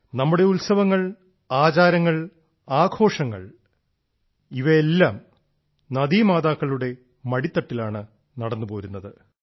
നമ്മുടെ ഉത്സവങ്ങൾ ആചാരങ്ങൾ ആഘോഷങ്ങൾ എന്നിവയെല്ലാം നദീ മാതാക്കളുടെ മടിത്തട്ടിലാണ് നടന്നുപോരുന്നത്